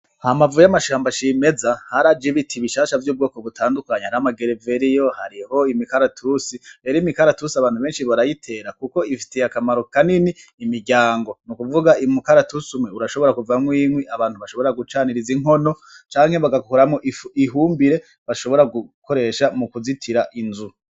Hambavu y'amashamba cimeza haraje ibiti bishasha vy'ubwoko butandukanye hariyo amagereveriyo hariho imikaratusi rero imikaratusi abantu beshi barayitera kuko ifitiye akamaro kanini imiryango nukuvuga umukaratusi umwe urashobora kuvamwo inkwi abantu bashobora gucaniriza inkono canke bagakoramwo ihumbire bashobora gukoresha mukuzitira inzu.